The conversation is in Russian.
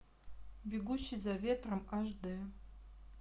бегущий за ветром аш дэ